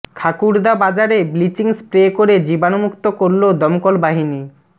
খাকুড়দা বাজারে bleaching spray করে জীবাণুমুক্ত করলো দমকল বাহিনী